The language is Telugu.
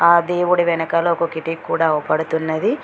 ఆ దేవుడి వెనకాల ఒక కిటికీ కూడా ఔపడుతున్నది.